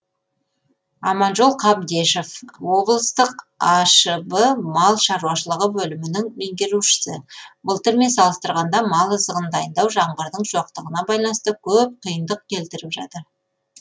аманжол қабдешов облыстық ашб мал шаруашылығы бөлімінің меңгерушісі былтырмен салыстырғанда мал азығын дайындау жаңбырдың жоқтығына байланысты көп қиындық келтіріп жатыр